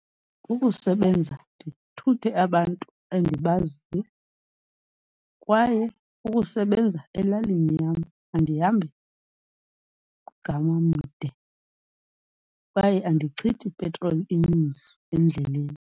Kukusebenza ndithuthe abantu endibaziyo, kwaye kukusebenza elalini yam. Andihambi mgama mde, kwaye andichithi petroli ininzi endleleni.